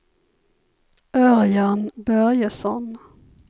Örjan Börjesson